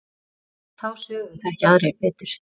Þá sögu þekkja aðrir betur.